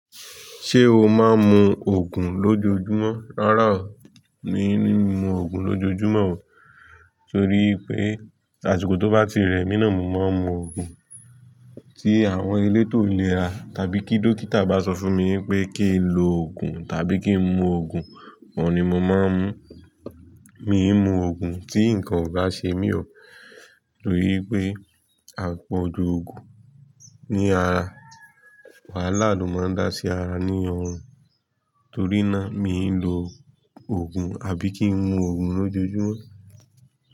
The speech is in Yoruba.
Ṣé o máa ń mu òògùn lójoojúmọ́? Rárá o, mi ò ní mu òògùn lójoojúmọ́ o, torí pé àsìkò tó bá ti rẹ̀ mí náà mo máa ń mu òògùn. Tí àwọn elétò lè ra tàbí kí dókítà bá sọ fún mi pé kí n lo òògùn tàbí kí n mu òògùn, mo ni mo máa ń mu. Mi ò ń mu òògùn tí nǹkan ò bá ṣe mí ọ, torí pé, àpọ̀jù òògùn ní ara wàhálà ló máa ń dá sí ara ní ọrùn. Torí náà, mi ò ń lo òògùn àbí kí n mu òògùn lójoojúmọ́